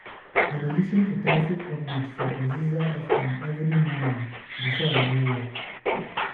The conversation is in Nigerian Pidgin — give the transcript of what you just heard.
I dey lis ten to traffic updates for Oziza FM every morning before I go work.